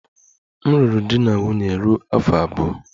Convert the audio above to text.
M lụrụ di na nwunye ruo afọ abụọ.